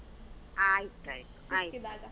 ಆಯ್ತ್ ಆಯ್ತು.